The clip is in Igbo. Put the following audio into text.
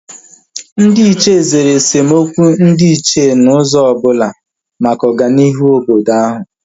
Ndị Ichie zere esemokwu ndị Ichie n'ụzọ ọbụla maka ọganihu obodo ahu